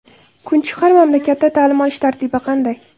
Kunchiqar mamlakatda ta’lim olish tartibi qanday?